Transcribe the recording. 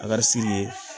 A ka ye